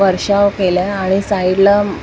वर्षाव केलाय आणि साईडला प--